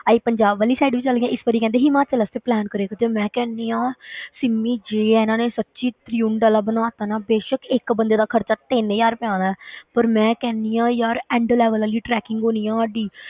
ਅਸੀਂ ਪੰਜਾਬ ਵਾਲੀ side ਵੀ ਚਲੇ ਗਏ ਹਾਂ, ਇਸ ਵਾਰੀ ਕਹਿੰਦੇ ਹਿਮਾਚਲ ਵਾਸਤੇ plan ਕਰਿਆ ਕਰਦੇ ਹਾਂ ਮੈਂ ਕਹਿੰਦੀ ਹਾਂ ਸਿਮੀ ਜੇ ਇਹਨਾਂ ਨੇ ਸੱਚੀਂ ਤ੍ਰਿਉਂਡ ਵਾਲਾ ਬਣਾ ਦਿੱਤਾ ਨਾ ਬੇਸ਼ਕ ਇੱਕ ਬੰਦੇ ਦਾ ਖ਼ਰਚਾ ਤਿੰਨ ਹਜ਼ਾਰ ਰੁਪਇਆ ਆਉਣਾ ਹੈ ਪਰ ਮੈਂ ਕਹਿੰਦੀ ਹਾਂ ਯਾਰ end level ਵਾਲੀ trekking ਹੋਣੀ ਆਂ ਸਾਡੀ